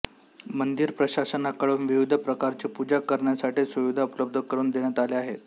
मंदिर प्रशासनाकडून विविध प्रकारची पूजा करण्यासाठी सुविधा उपलब्ध करून देण्यात आल्या आहेत